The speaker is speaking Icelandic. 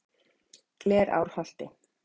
Glerárholti